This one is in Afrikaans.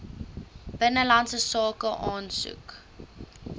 binnelandse sake aansoek